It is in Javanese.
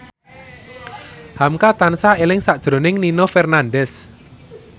hamka tansah eling sakjroning Nino Fernandez